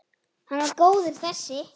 Hann var góður þessi!